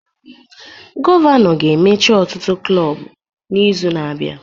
Gọvanọ ga-emechi ọtụtụ klọb n'izu na-abịa